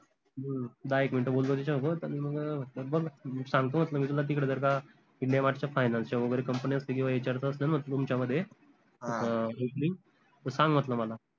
हम्म दहा एक minute बोललो त्याच्यासोबत अन मग सांगतो म्हण्टलं मी तुला तिकडे जर का india mart च्या finance च्या वगैरे company न्या असतील किवा HR च असेल म्हंटल तुमच्यामध्ये त opening त सांग म्हंटल मला